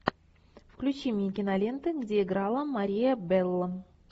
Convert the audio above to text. включи мне киноленты где играла мария белло